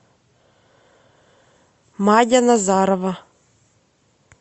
мадя назарова